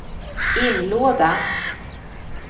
inlåda